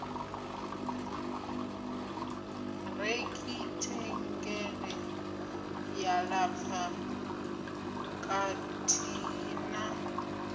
rekhithengele ya lapfa kathihi na